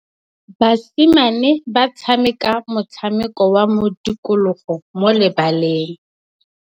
Basimane ba tshameka motshameko wa modikologô mo lebaleng.